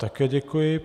Také děkuji.